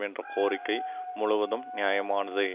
என்ற கோரிக்கை முழுவதும் நியாயமானதே